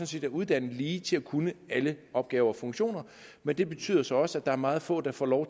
set er uddannet lige til at kunne alle opgaver og funktioner men det betyder så også at der er meget få der får